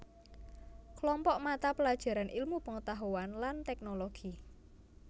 Klompok mata pelajaran ilmu pengetahuan lan teknologi